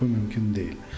Bu mümkün deyil.